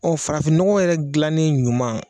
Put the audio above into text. Ɔ farafinnɔgɔ yɛrɛ dilannen ɲuman